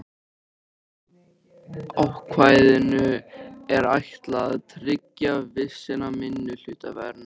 Ákvæðinu er ætlað að tryggja vissa minnihlutavernd.